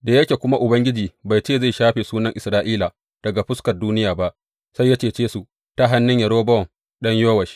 Da yake kuma Ubangiji bai ce zai shafe sunan Isra’ila daga fuskar duniya ba, sai ya cece su ta hannun Yerobowam ɗan Yowash.